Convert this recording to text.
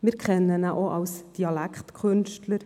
Wir kennen ihn auch als Dialektkünstler.